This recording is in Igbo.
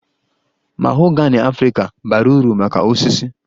Mahogany Africa bara uru maka osisi